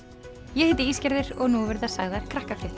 ég heiti og nú verða sagðar